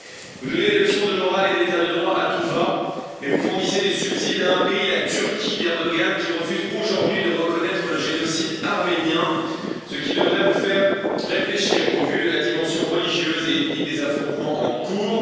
Vous donnez des leçons de morale et d'état de droit à tout va, mais vous fournissez des subsides à un pays, la Turquie d'Erdoğan, qui refuse aujourd'hui de reconnaître le génocide arménien, ce qui devrait vous faire réfléchir au vu de la dimension religieuse et ethnique des affrontements en cours.